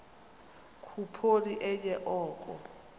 khuphoni enye oko